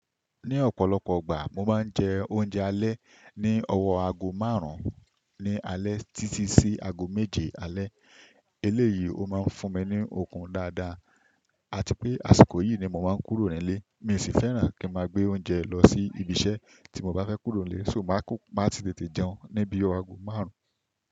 Ní ọ̀pọ̀lọpọ̀ ìgbà mo máa ń jẹ oúnjẹ alẹ́ ní ọwọ́ aago márùn-ún ní alẹ́ títí sí aago méje alẹ́. Eléyìí ó máa ń fún mi ní okun dáadáa àti pé àsìkò yìí ni mo máa ń kúrò nílé. Mi ò sì fẹ́ràn kí n máa gbé oúnjẹ lọ sí ibiṣẹ́ tí mo bá fẹ́ kúrò nílé, ṣò mọ máa sì tètè jẹun ní bí ọwọ́ aago márùn-ún.